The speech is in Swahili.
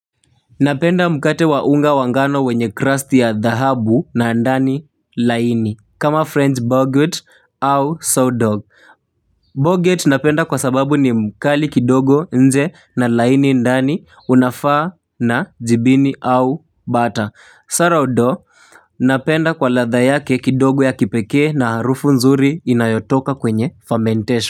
Napenda mkate wa unga wa ngano wenye crust ya dhahabu na ndani laini. Kama french boggett au sawdog Boggett napenda kwa sababu ni mkali kidogo nje na laini ndani unafaa na jibini au butter Sara udo. Napenda kwa ladha yake kidogo ya kipekee na harufu nzuri inayotoka kwenye fermentation.